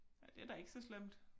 Nej det da ikke så slemt